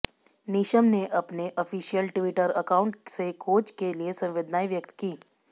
Neesham ने अपने official Twitter account से कोच के लिए संवेदनाएं व्यक्त की